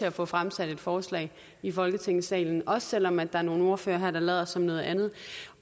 at få fremsat et forslag i folketingssalen også selv om der er nogle ordførere her der lader som noget andet